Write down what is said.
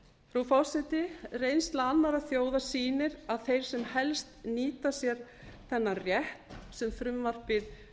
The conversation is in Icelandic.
frú forseti reynsla annarra þjóða sýnir að þeir sem helst nýta sér þennan rétt sem frumvarpið